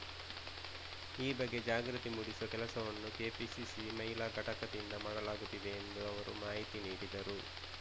ಈ ಬಗ್ಗೆ ಜಾಗೃತಿ ಮೂಡಿಸುವ ಕೆಲಸವನ್ನೂ ಕೆಪಿಸಿಸಿ ಮಹಿಳಾ ಘಟಕದಿಂದ ಮಾಡಲಾಗುತ್ತಿದೆ ಎಂದು ಅವರು ಮಾಹಿತಿ ನೀಡಿದರು